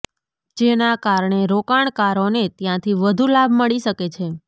જેના કારણે રોકાણકારોને ત્યાંથી વધુ લાભ મળી શકે છે